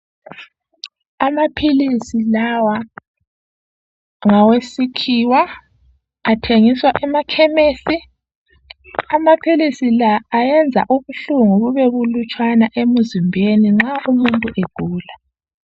Amaphilisi lawa ngesikhiwa athengiswa emakhemisi. Amaphilisi la ayenza ubuhlungu bube bulutshwana emzimbeni nxa umuntu egula.